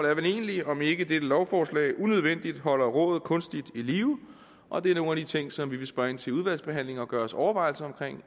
er vel egentlig om ikke dette lovforslag unødvendigt holder rådet kunstigt i live og det er nogle af de ting som vi vil spørge ind til udvalgsbehandlingen og gøre os overvejelser om